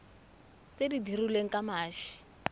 tse di dirilweng ka mashi